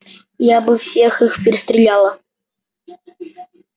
я бы всех их перестреляла